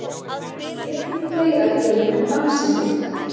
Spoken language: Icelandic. En hér kemur fleira til en dansinn einn.